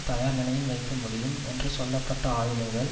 தயார் நிலையில் வைக்க முடியும் என்று சொல்ல பட்ட ஆயுதங்கள்